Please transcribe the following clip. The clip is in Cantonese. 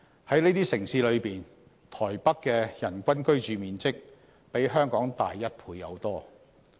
在這些城市中，台北的人均居住面積比香港大一倍有多。